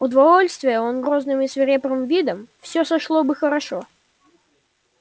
удовольствия он грозным и свирепым видом всё сошло бы хорошо